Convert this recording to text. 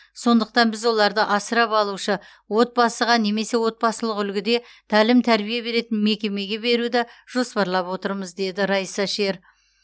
сондықтан біз оларды асырап алушы отбасыға немесе отбасылық үлгіде тәлім тәрбие беретін мекемеге беруді жоспарлап отырмыз деді раиса шер